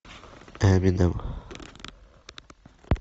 эминем